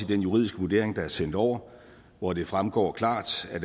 den juridiske vurdering der er sendt over hvor det fremgår klart at